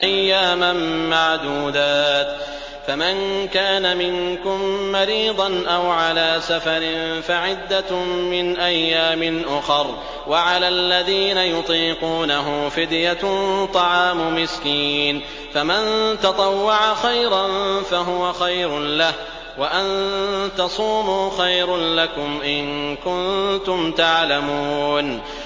أَيَّامًا مَّعْدُودَاتٍ ۚ فَمَن كَانَ مِنكُم مَّرِيضًا أَوْ عَلَىٰ سَفَرٍ فَعِدَّةٌ مِّنْ أَيَّامٍ أُخَرَ ۚ وَعَلَى الَّذِينَ يُطِيقُونَهُ فِدْيَةٌ طَعَامُ مِسْكِينٍ ۖ فَمَن تَطَوَّعَ خَيْرًا فَهُوَ خَيْرٌ لَّهُ ۚ وَأَن تَصُومُوا خَيْرٌ لَّكُمْ ۖ إِن كُنتُمْ تَعْلَمُونَ